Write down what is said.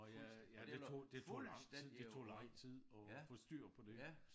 Nåh ja ja ja det tog det tog lang tid det tog lang tid at få styr på det